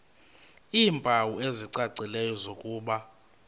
iimpawu ezicacileyo zokuba